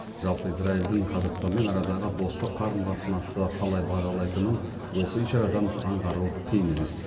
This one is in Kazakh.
жалпы израильдің қазақстанмен арадағы достық қарым қатынасты қалай бағалайтынын осы ишарадан аңғару қиын емес